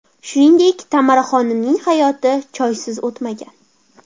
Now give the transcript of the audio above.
Shuningdek, Tamaraxonimning hayoti choysiz o‘tmagan.